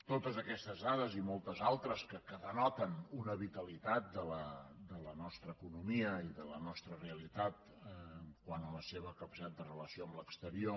totes aquestes dades i moltes altres que denoten una vitalitat de la nostra economia i de la nostra realitat quant a la seva capacitat de relació amb l’exterior